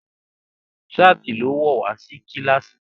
ṣáàtì ló wọ̀ wá kílàsì.